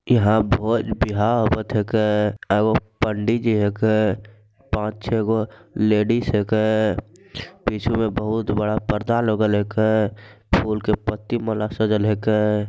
यहां पर ब्याह होखत है के। एगो पंडित जी हैं के। पांच छह गो लेडिस हैं के। पीछे में बहुत बड़ा पर्दा लगल है के फूलों की पत्ती माला सजल है के।